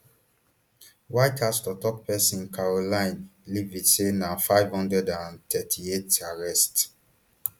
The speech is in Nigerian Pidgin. white house toktok pesin karoline leavitt say na five hundred and thirty-eight arrests